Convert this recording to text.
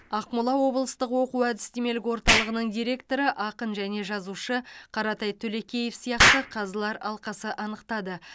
ақмола облыстық оқу әдістемелік орталығының директоры ақын және жазушы қаратай төлекеев сияқты қазылар алқасы анықтады